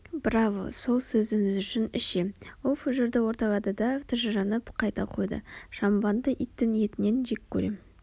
браво сол сөзіңіз үшін ішем ол фужерді орталады да тыжырынып қайта қойды шампанды иттің етінен жек көрем